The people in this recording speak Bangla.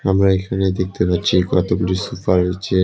আমরা এখানে দেখতে পাচ্ছি কতগুলো সুফা রইছে।